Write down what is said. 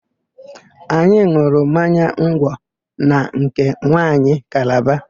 Anyị n̄ụrụ mmanya ngwọ na nke nwanyị Kalaba.